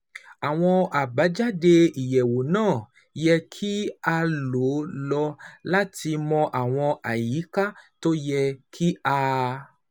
Àwọn àbájáde ìyẹwò náà yẹ kí a lò lò láti mọ àwọn àyíká tó yẹ kí a